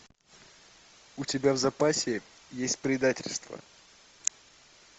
у тебя в запасе есть предательство